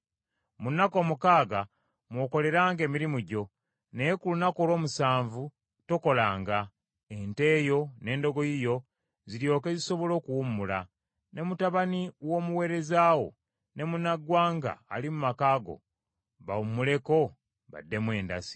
“Mu nnaku omukaaga mw’okoleranga emirimu gyo, naye ku lunaku olw’omusanvu tokolanga, ente yo n’endogoyi yo ziryoke zisobole okuwummulako; ne mutabani w’omuweereza wo, ne munnaggwanga ali mu maka go bawummuleko baddemu endasi.